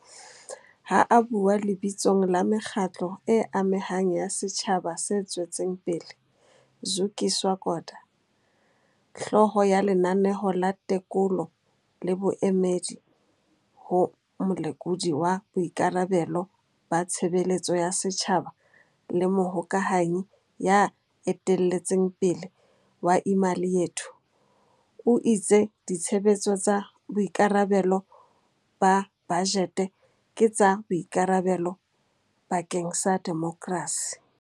Ha a bua lebitsong la mekgatlo e amehang ya setjhaba se tswetseng pele, Zukiswa Kota, hlooho ya Lenaneo la Tekolo le Boemedi ho Molekodi wa Boikarabelo ba Tshebeletso ya Setjhaba le mohokahanyi ya eteletseng pele wa Imali Yethu, o itse ditshebetso tsa boikarabe lo ba bajete ke tsa boikarabelo bakeng sa demokrasi.